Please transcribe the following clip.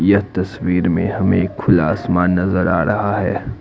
यह तस्वीर में हमें एक खुला आसमान नजर आ रहा है।